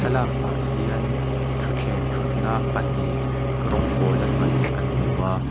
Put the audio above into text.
thlaklak ah hian thuthleng thut na pahnih rawng pawla hnawih kan hmu a--